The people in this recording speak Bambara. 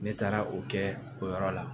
Ne taara o kɛ o yɔrɔ la